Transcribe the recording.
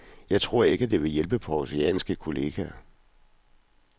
Jeg tror ikke, at det vil hjælpe de århusianske kolleger.